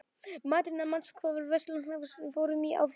Mattíana, manstu hvað verslunin hét sem við fórum í á þriðjudaginn?